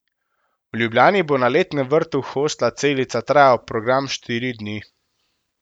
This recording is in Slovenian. V Ljubljani bo na letnem vrtu hostla Celica trajal program štiri dni.